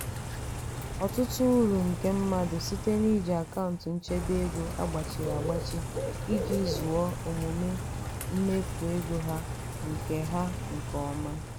ọtụtụ uru ndị mmadụ site n'iji akaụntụ nchebe ego a gbachịrị agbachị iji zụọ omume mmefu ego ha nke ha nke ọma.